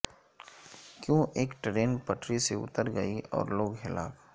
کیوں ایک ٹرین پٹری سے اتر گئی اور لوگ ہلاک